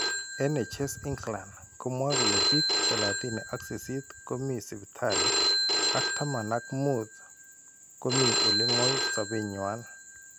NHS England komwae kole biik thslatini ka sisit komii sipitali ak tamana ak muut komii ole ng'oi sabeny' nywa.